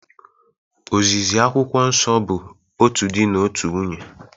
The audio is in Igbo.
Ozizi Akwụkwọ Nsọ bụ otu di na otu nwunye